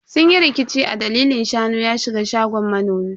Sun yi rikici a dalilin shanu ya shiga gonan manomi.